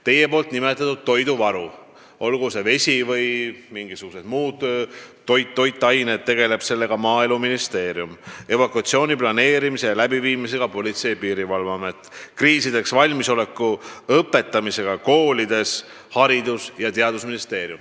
Teie nimetatud toidu- ja veevaruga tegeleb Maaeluministeerium, evakuatsiooni planeerimise ja läbiviimisega Politsei- ja Piirivalveamet, kriisideks valmisoleku õpetamisega koolides Haridus- ja Teadusministeerium.